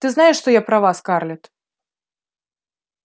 ты знаешь что я права скарлетт